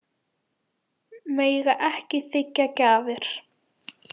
Mega ekki þiggja gjafir